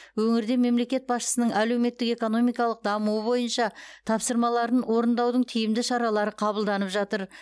өңірде мемлекет басшысының әлеуметік экономикалық дамуы бойынша тапсырмаларын орындаудың тиімді шаралары қабылданып жатыр